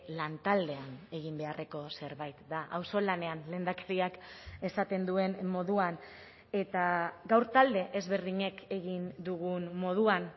lantaldean egin beharreko zerbait da auzolanean lehendakariak esaten duen moduan eta gaur talde ezberdinek egin dugun moduan